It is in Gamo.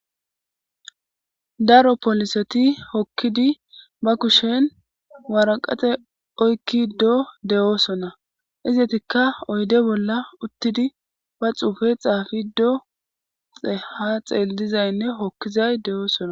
Daro polliseti hokkidi ba kushshen waraqqate oykiddo de'osona izetikka oyidde bolla uttidi ba xuffe xaffiddo ha xellizayinne hokkizay de'oosona.